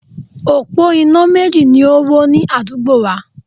Òpó iná méjì ni o wó ní adúgbo wa